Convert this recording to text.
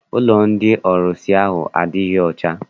Ụlọ ndị ọrụsị ahụ adịghị ọcha.